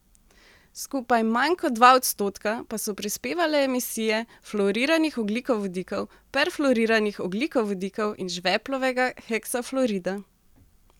Skupaj manj kot dva odstotka pa so prispevale emisije fluoriranih ogljikovodikov, perfluoriranih ogljikovodikov in žveplovega heksafluorida.